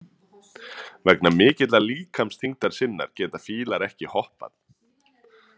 Vegna mikillar líkamsþyngdar sinnar geta fílar ekki hoppað.